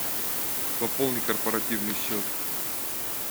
пополни корпоративный счет